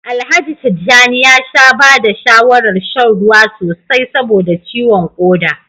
Alhaji Tijjani ya sha ba da shawarar shan ruwa sosai saboda ciwon koda